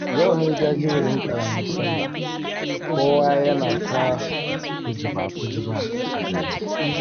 Yau ne jajiberin ƙaramar sallah, kowa yana ta kujiba-kujiba a gari